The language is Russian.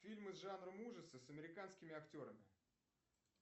фильмы с жанром ужасы с американскими актерами